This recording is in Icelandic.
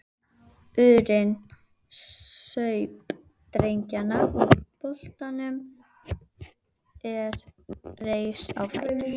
urinn, saup dreggjarnar úr bollanum og reis á fætur.